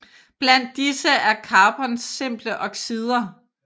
Blandt disse er carbons simple oxider